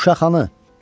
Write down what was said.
Uşaq hanı?